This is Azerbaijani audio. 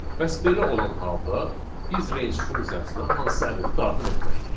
Bəs belə olan halda biz range funksiyasına hansı ədədi daxil etməliyik?